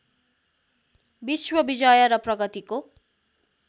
विश्वविजय र प्रगतिको